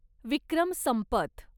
Vikram Sampath